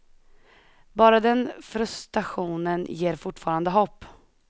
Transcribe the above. Bara den frustrationen ger fortfarande hopp.